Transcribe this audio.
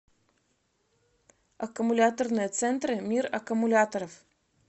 аккумуляторные центры мир аккумуляторов